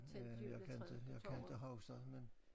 Ja jeg kan inte jeg kan inte huske det men